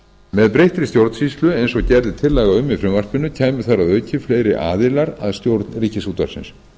með breyttri stjórnsýslu eins og gerð er tillaga um í frumvarpinu kæmu þar að auki fleiri aðilar að stjórn ríkisútvarpsins